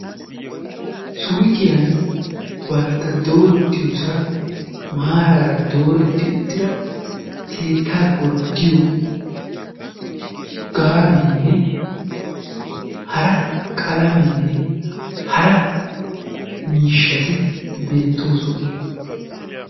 suyqqiyan bantta dooretiyoossan maarar dooretti uttida gaanenne hara qalamenne hara miishshati beettoossona.